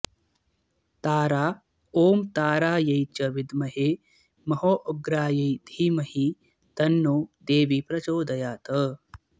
तारा ॐ तारायै च विद्महे महोग्रायै धीमहि तन्नो देवी प्रचोदयात्